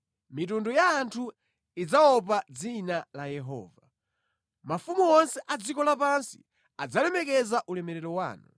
Mitundu ya anthu idzaopa dzina la Yehova, mafumu onse a dziko lapansi adzalemekeza ulemerero wanu.